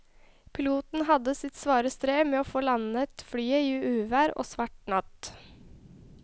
Piloten hadde sitt svare strev med å få landet flyet i uvær og svart natt.